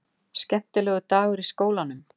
Skemmtilegur dagur í skólanum!